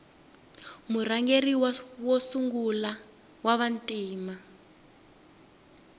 murhangeri wa sungula wava ntima